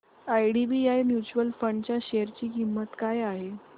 IDBI mutual fund च्या share ची किंमत काय आहे